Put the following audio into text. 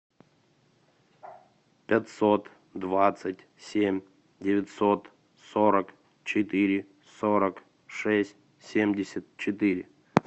пятьсот двадцать семь девятьсот сорок четыре сорок шесть семьдесят четыре